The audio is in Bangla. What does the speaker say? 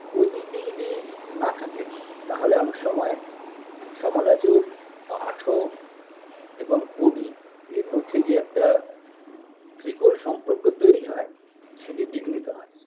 ঐটি যদি না থাকেন তাহলে অনেক সময় সমালোচক পাঠক এবং কবি এর মধ্যেই যে একটা ত্রিকোণ সম্পর্ক তৈরি হয় সেটি বিঘ্নিত হয়